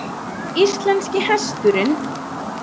Íslenski hesturinn.